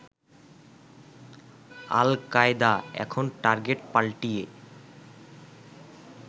আল Qaeda এখন target পাল্টিয়ে